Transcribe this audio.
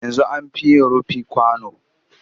Yanzu an fi yin rufi kwano